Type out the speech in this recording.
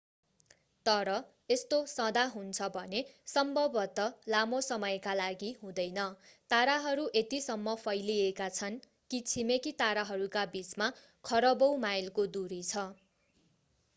तर यस्तो सदा हुन्छ भने सम्भवतः लामो समयका लागि हुँदैन ताराहरू यतिसम्म फैलिएका छन् कि छिमेकी ताराहरूका बीचमा खरबौँ माइलको दूरी छ